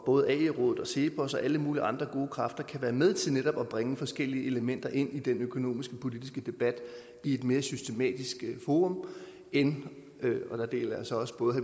både ae rådet og cepos og alle mulige andre gode kræfter kan være med til netop at bringe forskellige elementer ind i den økonomiske politiske debat og ind i et mere systematisk forum end og der deler jeg så også både